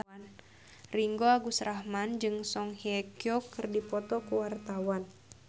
Ringgo Agus Rahman jeung Song Hye Kyo keur dipoto ku wartawan